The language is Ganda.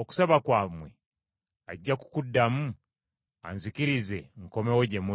okusaba kwammwe ajja kukuddamu anzikirize nkomewo gye muli.